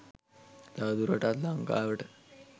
තවදුරටත් ලංකාවට